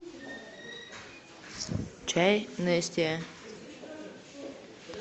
чай нестиа